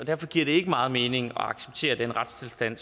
derfor giver det ikke meget mening at acceptere den retstilstand